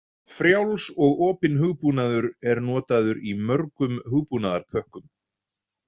Frjáls og opinn hugbúnaður er notaður í mörgum hugbúnaðarpökkum.